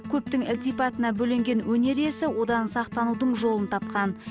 көптің ілтипатына бөленген өнер иесі одан сақтанудың жолын тапқан